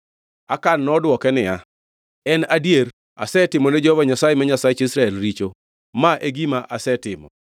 Akan nodwoke niya, “En adier! Asetimone Jehova Nyasaye ma Nyasach Israel richo. Ma e gima asetimo: